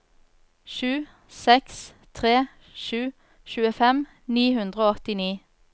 sju seks tre sju tjuefem ni hundre og åttini